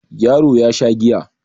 Yaro ya Sha giya